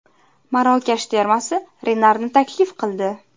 Marokash termasi Renarni taklif qildi.